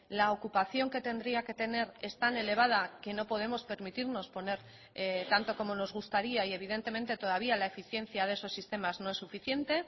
la ocupación que tendría que tener es tan elevada que no podemos permitirnos poner tanto como nos gustaría y evidentemente todavía la eficiencia de esos sistemas no es suficiente